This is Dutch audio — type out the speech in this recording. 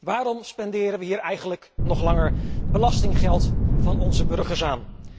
Waarom spenderen we hier eigenlijk nog langer belastinggeld van onze burgers aan?